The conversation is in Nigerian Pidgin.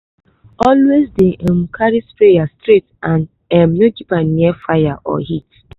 always dey um carry sprayer straight and um no keep am near fire or heat.